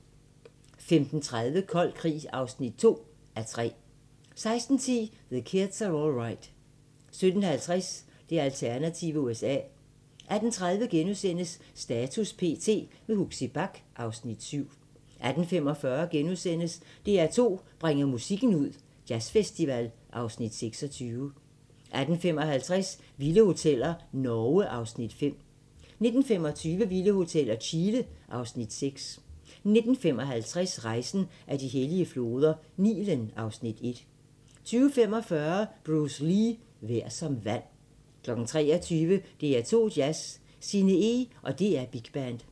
15:30: Kold krig (2:3) 16:10: The Kids Are All Right 17:50: Det alternative USA 18:30: Status p.t. – med Huxi Bach (Afs. 7)* 18:45: DR2 bringer musikken ud – Jazzfestival (Afs. 26)* 18:55: Vilde hoteller – Norge (Afs. 5) 19:25: Vilde hoteller – Chile (Afs. 6) 19:55: Rejsen ad de hellige floder - Nilen (Afs. 1) 20:45: Bruce Lee - Vær som vand 23:00: DR2 Jazz: Sinne Eeg & DR Big Band